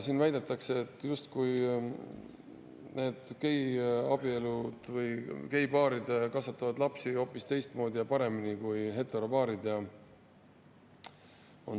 Siin väidetakse, justkui need geipaarid kasvataksid lapsi hoopis teistmoodi ja paremini kui heteropaarid.